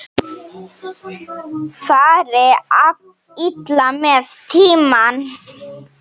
Fari illa með tímann.